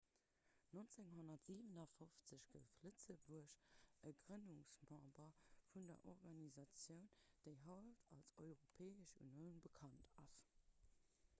1957 gouf lëtzebuerg e grënnungsmember vun der organisatioun déi haut als europäesch unioun bekannt ass